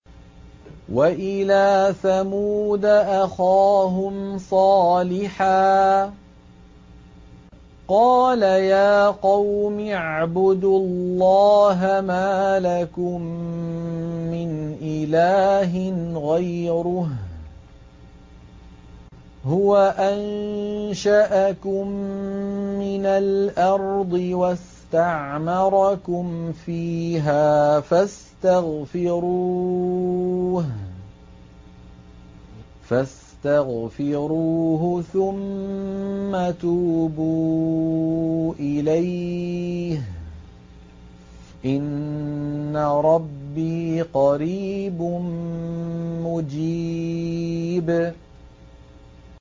۞ وَإِلَىٰ ثَمُودَ أَخَاهُمْ صَالِحًا ۚ قَالَ يَا قَوْمِ اعْبُدُوا اللَّهَ مَا لَكُم مِّنْ إِلَٰهٍ غَيْرُهُ ۖ هُوَ أَنشَأَكُم مِّنَ الْأَرْضِ وَاسْتَعْمَرَكُمْ فِيهَا فَاسْتَغْفِرُوهُ ثُمَّ تُوبُوا إِلَيْهِ ۚ إِنَّ رَبِّي قَرِيبٌ مُّجِيبٌ